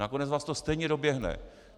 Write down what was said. Nakonec vás to stejně doběhne.